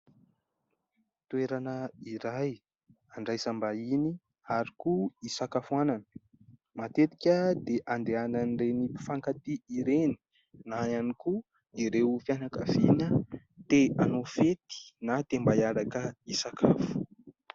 Toerana iray handraisam-bahiny ary koa hisakafoanana. Matetika dia handehanan'ireny mpifankatia ireny na ihany koa ireo fianankaviana te hanao fety na te mba hiaraka hanao sakafo.